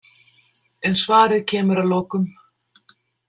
En svarið kemur að lokum.